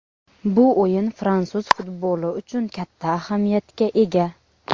Bu o‘yin fransuz futboli uchun katta ahamiyatga ega.